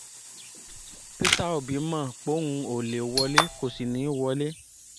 peter obi mọ̀ póun ó lè wọlé kó sì ní í wọlé